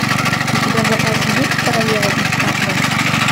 у тебя в запасе есть королева из катве